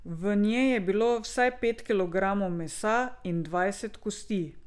V njej je bilo vsaj pet kilogramov mesa in dvajset kosti.